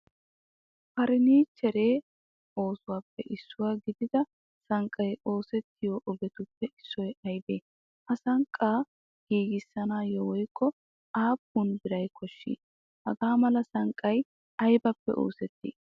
Furnichchere oosuwappe issuwa gidida sanqqay oosettiyo ogetuppe issoy aybe? Ha sanqqa giigisanawu woykko appun biira koshshi? Hagamala sanqqay aybippe oosetti?